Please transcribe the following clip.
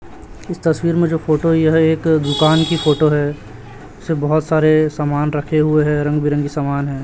इस तस्वीर में जो फोटो यह एक दुकान की फोटो है उसे बहुत सारे सामान रखे हुए है रंग बिरंगे समान हैं।